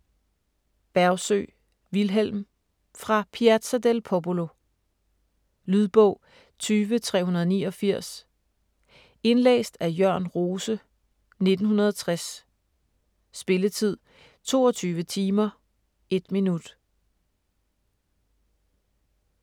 Bergsøe, Vilhelm: Fra Piazza del Popolo Lydbog 20389 Indlæst af Jørn Rose, 1960. Spilletid: 22 timer, 1 minut.